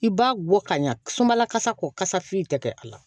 I b'a bɔ ka ɲa sumabalakasa ko kasa fiye tɛ kɛ a la